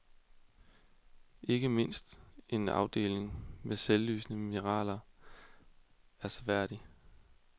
Ikke mindst en afdeling med selvlysende mineraler er seværdig.